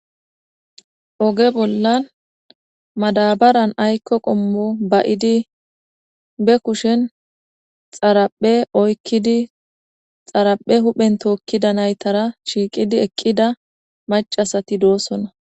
oge bollan madabaran aykko qommo ba'idi be kushen xaraphe oykkidi xaraphe huphen tookkida naytara shiiqidi eqqida macasati doosona